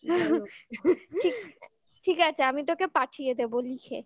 ঠিক আছে আমি তোকে পাঠিয়ে দেবো লিখে